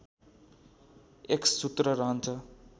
एक्ससूत्र रहन्छ